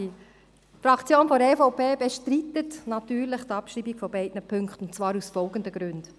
Die Fraktion der EVP bestreitet natürlich die Abschreibung von beiden Punkten, und zwar aus folgenden Gründen: